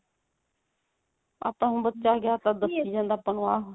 ਆਪਾਂ ਹੁਣ ਬੱਚਾ ਗਿਆ ਦੱਸੀ ਜਾਂਦਾ ਆਪਾਂ ਨੂੰ ਆਹ